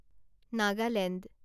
Nagaland